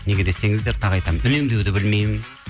неге десеңіздер тағы айтамын үнемдеуді білмеймін